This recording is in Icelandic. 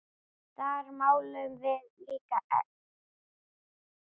Þar málum við líka egg.